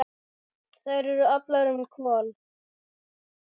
Þær eru allar um Kol.